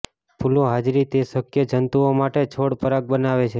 ફૂલો હાજરી તે શક્ય જંતુઓ માટે છોડ પરાગ બનાવે છે